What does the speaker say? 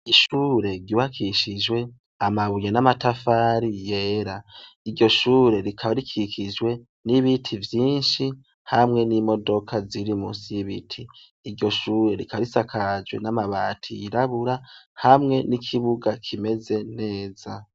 Gishure giwakishijwe amabuye n'amatafari yera iryo shure rikaba rikikijwe n'ibiti vyinshi hamwe n'imodoka ziri musi y'ibiti iryo shure rikarisakajwe n'amabati yirabura hamwe n'ikibuga kimeze neza.